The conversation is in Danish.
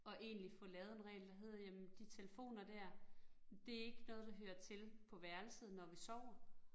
Og egentlig fået lavet en regel, der hed jamen de telefoner dér, det ikke noget, der hører til på værelset, når vi sover